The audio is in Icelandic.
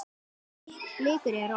En blikur eru á lofti.